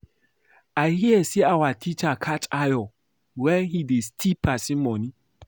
I hear say our teacher catch Ayo wen he dey steal person money